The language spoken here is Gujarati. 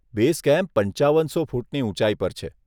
બેઝ કેમ્પ પંચાવનસો ફૂટની ઉંચાઈ પર છે.